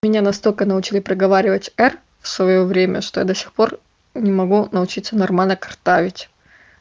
меня настолько научили проговаривать р в своё время что я до сих пор не могу научиться нормально картавить